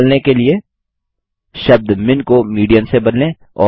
मध्य value निकलने के लिए शब्द मिन को मीडियन से बदलें